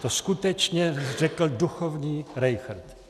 To skutečně řekl duchovní Rejchrt.